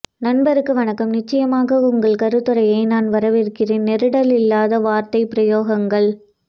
நண்பருக்கு வணக்கம் நிச்சியமாக உங்கள் கருத்துரையை நான் வரவேற்கிறேன் நெருடல் இல்லாத வார்த்தை பிரயோகங்கள்